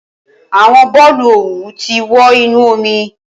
Awọn boolu owu ti wọ inu omi.